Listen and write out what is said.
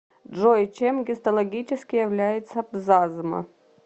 джой чем гистологически является пзазма